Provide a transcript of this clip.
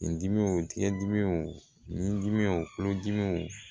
Nin dimiw tiga dimi o dimi o kulodimiw